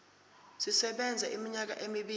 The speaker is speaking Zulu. sisebenza iminyaka emibili